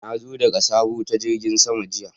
Na zo daga sabo ta jirigin sama jiya.